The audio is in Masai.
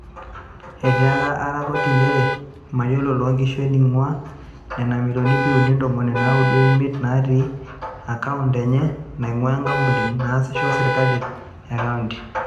Etiaka ARA koti nchere meyiolo Loonkishu eneinguaa nena milioni ip uni ntomoni naudo o imiet naatii akaond enye nainguaa nkampunini naasisho o serkali e kaonti.